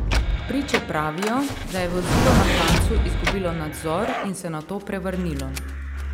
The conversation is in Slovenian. Priče pravijo, da je vozilo na klancu izgubilo nadzor in se nato prevrnilo.